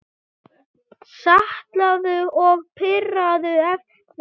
Saltaðu og pipraðu eftir smekk.